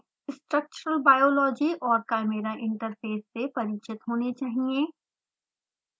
structural biology और chimera interface से अवश्य परिचित होने चाहियें